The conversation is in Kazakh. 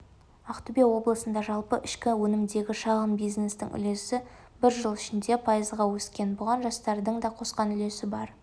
ақтөбе облысында жалпы ішкі өнімдегі шағын бизнестің үлесі бір жыл ішінде пайызға өскен бұған жастардың да қосқан үлесі бар